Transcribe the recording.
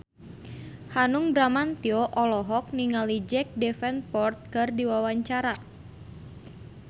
Hanung Bramantyo olohok ningali Jack Davenport keur diwawancara